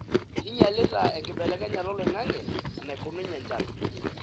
kinyialita enkibelekenyata oloingange enaikununye enchan.